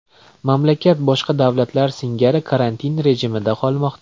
Mamlakat boshqa davlatlar singari karantin rejimida qolmoqda.